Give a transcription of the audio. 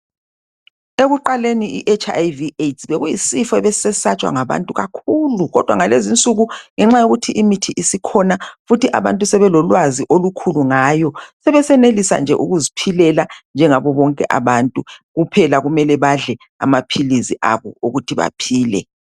Ekuqaleni i"Hiv Aids "bekuyisifo ebesisesatshwa ngabantu kakhulu kodwa ngalezi nsuku ngenxa yokuthi imithi isikhona futhi abantu sebelolwazi olukhulu ngayo sebesenelisa nje ukuziphilela njengabo bonke abantu kuphela kumele badle amaphilizi abo ukuthi baphile.